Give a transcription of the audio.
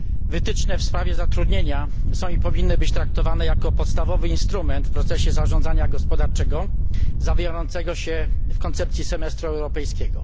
Wytyczne w sprawie zatrudnienia są i powinny być traktowane jako podstawowy instrument w procesie zarządzania gospodarczego zawierającego się w koncepcji semestru europejskiego.